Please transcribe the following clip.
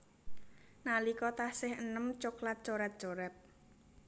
Nalika taksih eném coklat coret coret